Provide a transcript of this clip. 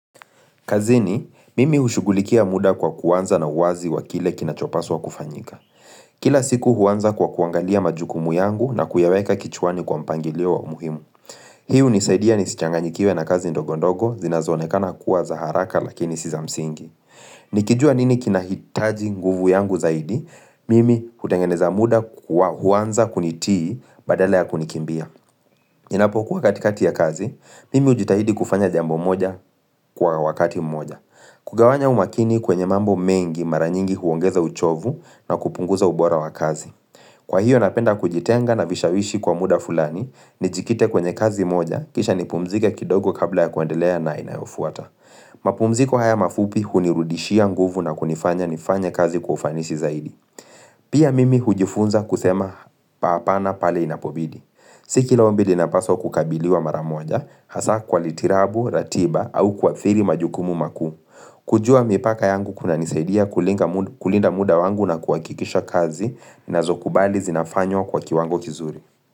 Kazini, mimi hushughulikia muda kwa kuanza na uwazi wa kile kinachopaswa kufanyika. Kila siku huanza kwa kuangalia majukumu yangu na kuyaweka kichwani kwa mpangilio wa umuhimu. Hii hunisaidia nisichanganyikiwe na kazi ndogondogo, zinazoonekana kuwa za haraka lakini si za msingi. Nikijua nini kinahitaji nguvu yangu zaidi, mimi hutengeneza muda kwa huwanza kunitii badale ya kunikimbia. Ninapokuwa katikati ya kazi, mimi hujitahidi kufanya jambo moja kwa wakati moja. Kugawanya umakini kwenye mambo mengi mara nyingi huongeza uchovu na kupunguza ubora wa kazi. Kwa hiyo napenda kujitenga na vishawishi kwa muda fulani Nijikite kwenye kazi moja kisha nipumzike kidogo kabla ya kuandelea na inayofuata mapumziko haya mafupi hunirudishia nguvu na kunifanya nifanye kazi ufanisi zaidi Pia mimi hujifunza kusema hapana pale inapobidi Si kila ombi linapaswa kukabiliwa mara moja hasa kwa litirabu, ratiba au kuathiri majukumu makuu kujua mipaka yangu kunanisaidia kulinga kulinda muda wangu na kuhakikisha kazi ninazokubali, zinafanywa kwa kiwango kizuri.